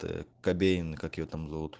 то кобейн и как его там завут